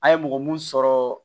An ye mɔgɔ mun sɔrɔ